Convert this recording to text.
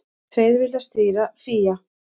Tveir vilja stýra FÍA